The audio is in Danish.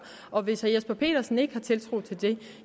og hvis herre jesper petersen ikke har tiltro til det